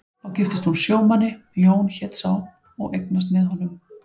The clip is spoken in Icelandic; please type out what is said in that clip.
Þá giftist hún sjómanni, Jón hét sá, og eignast með honum